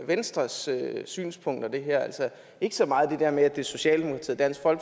venstres synspunkter altså ikke så meget det der med at det er socialdemokratiets og